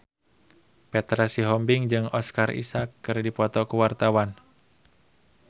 Petra Sihombing jeung Oscar Isaac keur dipoto ku wartawan